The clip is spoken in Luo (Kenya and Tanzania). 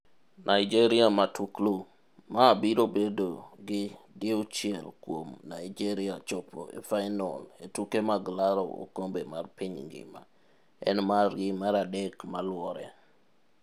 Nigeria Matuklu: Ma biro bedo gi diuchiel kuom Naijeria chopo e fainol e tuke mag laro okombe mar piny ngima, en margi maradek maluore.